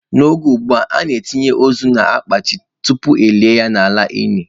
N'oge ugbua, a na-etinye ozu n'ime akpati ozu tupu elie ya n'ime ili.